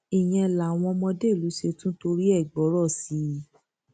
ìyẹn làwọn ọmọdé ìlú ṣe tún torí ẹ gbọrọ sí i